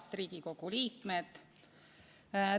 Head Riigikogu liikmed!